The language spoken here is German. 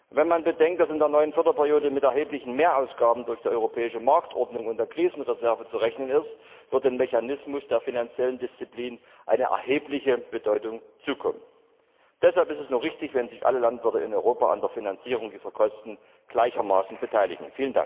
Wenn man bedenkt, dass in der neuen Förderperiode mit erheblichen Mehrausgaben durch die europäische Marktordnung und der Krisenreserve zu rechnen ist, wird dem Mechanismus der finanziellen Disziplin eine erhebliche Bedeutung zukommen. Deshalb ist es nur richtig, wenn sich alle Landwirte in Europa an der Finanzierung dieser Kosten gleichermaßen beteiligen.